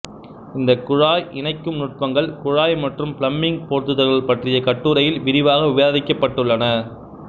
இந்த குழாய் இணைக்கும் நுட்பங்கள் குழாய் மற்றும் பிளம்பிங் பொருத்துதல்கள் பற்றிய கட்டுரையில் விரிவாக விவாதிக்கப்பட்டுள்ளது